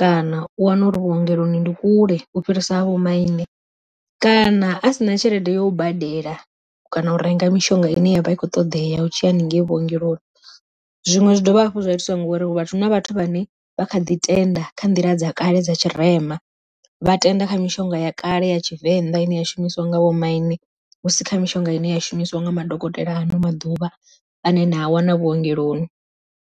kana u wana uri vhuongeloni ndi kule u fhirisa ha vho maine, kana a sina tshelede yo u badela kana u renga mishonga ine yavha ikho ṱoḓeya u tshiya haningei vhuongeloni. Zwiṅwe zwi dovha hafhu zwa itiwa ngori vhathu huna vhathu vhane vha kha ḓi tenda kha nḓila dza kale dza tshirema, vha tenda kha mishonga ya kale ya tshivenḓa ine ya shumiswa nga vho maine hu si kha mishonga ine ya shumiswa nga madokotela ano maḓuvha ane na a wana vhuongeloni.